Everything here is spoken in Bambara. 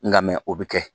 Nga mɛn o bɛ kɛ